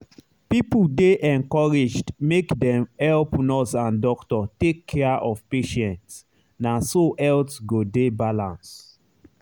people dey encouraged make dem help nurse and doctor take care of patient na so health go dey better.